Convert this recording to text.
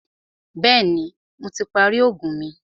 Bẹ̀ẹ́ni, Mo ti parí oògùn mi.